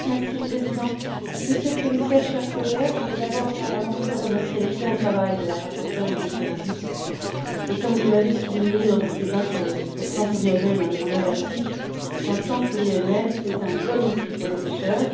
Monsieur le Président, Monsieur le Commissaire, chers collègues, je voudrais d'abord à mon tour remercier l'excellent travail de la rapporteure Ulrike Rodust et, comme je l'avais souligné lors du débat sur le plan pluriannuel en mer Baltique, un plan pluriannuel est un bon outil pour les pêcheurs.